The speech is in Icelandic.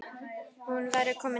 Hún væri komin heim.